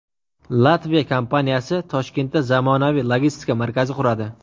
Latviya kompaniyasi Toshkentda zamonaviy logistika markazi quradi.